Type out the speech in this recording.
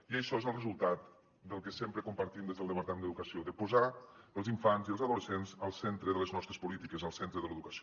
i això és el resultat del que sempre compartim des del departament d’educació de posar els infants i els adolescents al centre de les nostres polítiques al centre de l’educació